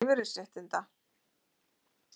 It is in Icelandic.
Ræða jöfnun lífeyrisréttinda